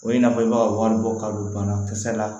O ye n'a fɔ i b'a wari bɔ kalosa la